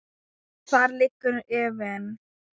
En þar liggur efinn.